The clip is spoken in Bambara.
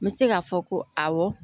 N bɛ se k'a fɔ ko awɔ